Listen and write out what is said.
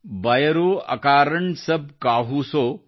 ಬಯರೂ ಅಕಾರಣ್ ಸಬ್ ಕಾಹೂ ಸೊ